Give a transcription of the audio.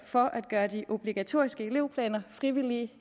for at gøre de obligatoriske elevplaner frivillige